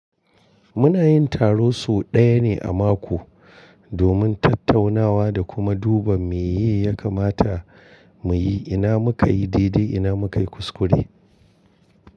Muna yin taro sau ɗaya ne a mako domin tattaunawa da kuma duba me ya kamata mu yi, ina muka yi didi, ina muka yi kuskure.